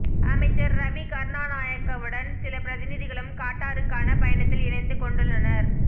அமைச்சர் ரவி கருணாநாயக்கவுடன் சில பிரதிநிதிகளும் கட்டாருக்கான பயணத்தில் இணைந்து கொண்டுள்ளனர்